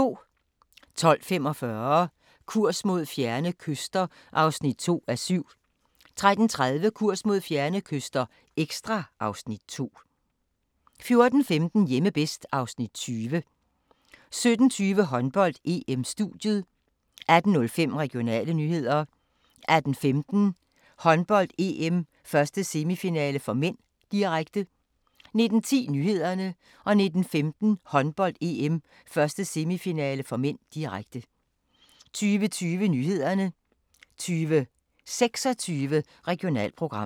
12:45: Kurs mod fjerne kyster (2:7) 13:30: Kurs mod fjerne kyster – ekstra (Afs. 2) 14:15: Hjemme bedst (Afs. 20) 17:20: Håndbold: EM - studiet 18:05: Regionale nyheder 18:15: Håndbold: EM - 1. semifinale (m), direkte 19:10: Nyhederne 19:15: Håndbold: EM - 1. semifinale (m), direkte 20:20: Nyhederne 20:26: Regionalprogram